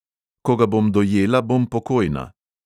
Ko ga bom dojela, bom pokojna.